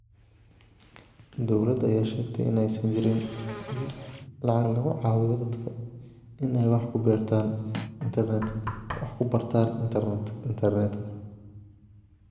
Dowladda ayaa sheegtay in aysan jirin lacag lagu caawiyo dadka in ay wax ku bartaan internetka.